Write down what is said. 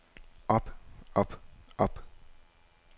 op op op